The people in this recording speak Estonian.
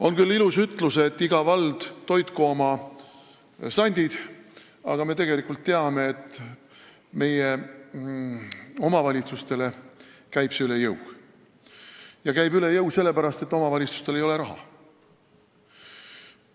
On küll ilus ütlus, et iga vald toitku oma sandid, aga me teame, et meie omavalitsustele käib see üle jõu ja käib üle jõu sellepärast, et omavalitsustel ei ole raha.